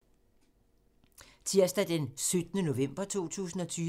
Tirsdag d. 17. november 2020